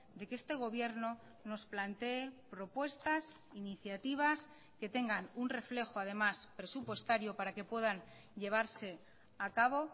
de que este gobierno nos plantee propuestas iniciativas que tengan un reflejo además presupuestario para que puedan llevarse a cabo